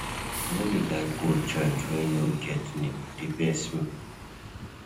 I no dey like go joint wey no get name, e dey vex me.